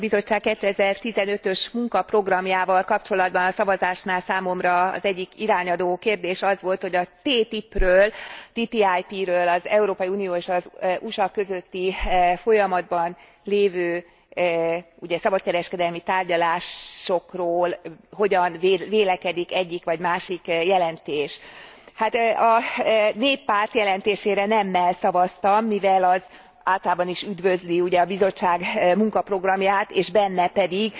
Az Európai Bizottság 2015 ös munkaprogramjával kapcsolatban a szavazásnál számomra az egyik irányadó kérdés az volt, hogy a TTIP ről az Európai Unió és az USA között folyamatban lévő szabadkereskedelmi tárgyalásokról hogyan vélekedik egyik vagy másik jelentés. A Néppárt jelentésére nemmel szavaztam, mivel az általában is üdvözli a Bizottság munkaprogramját, és benne pedig